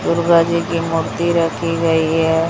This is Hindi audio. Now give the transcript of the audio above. दुर्गा जी की मूर्ति रखी गई है।